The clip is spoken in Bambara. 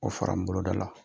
O fara n boloda la,